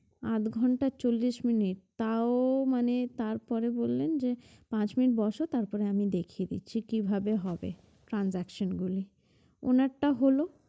আট ঘন্টা চল্লিশ মিনিট তাও মানে তারপরে বললেন যে পাঁচ মিনিট বসো তারপরে আমি দেখিয়ে দিচ্ছি কিভাবে হবে transaction গুলো ওনার টা হলো